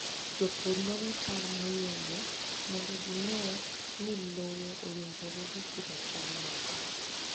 Jopur nono chal mar lowo mondo gine ni lowo owinjore gi pidho cham moko.